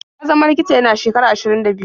Ya zama likita yana shekara ashirin da biyu.